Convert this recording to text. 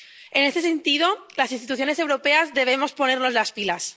En este sentido, las instituciones europeas debemos ponernos las pilas.